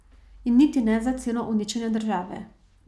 In niti ne za ceno uničenja države.